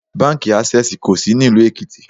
Báńkì Ásẹ́sìì kò sí ní ìlú Èkìtì.